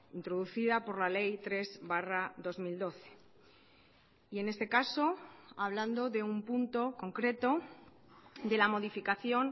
introducida por la ley tres barra dos mil doce y en este caso hablando de un punto concreto de la modificación